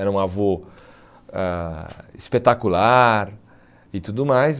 Era um avô ãh espetacular e tudo mais.